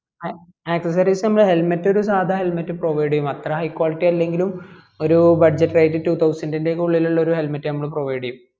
ആ accessories നമ്മള് helmet നമ്മള് ഒരു സാധാ helmet provide ചെയ്യും അത്ര high quality അല്ലെങ്കിലും ഒരു budget two thousand ഒക്കെ ഉള്ളിൽ ഒരു helmet നമ്മള് provide ചെയ്യും